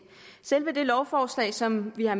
selve det lovforslag som vi har